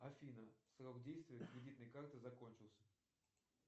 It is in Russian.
афина срок действия кредитной карты закончился